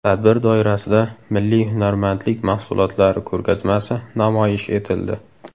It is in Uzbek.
Tadbir doirasida milliy hunarmandlik mahsulotlari ko‘rgazmasi namoyish etildi.